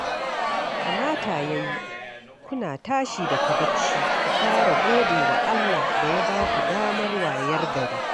Kamata ya yi, kuna tashi daga barci ku fara gode wa Allah da ya ba ku damar wayar gari